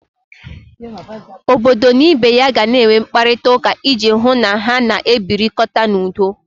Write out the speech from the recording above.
Obodo na ibe ya gana enwe mkparịtauka iji hụ na ha na-ebirikọta n'udo.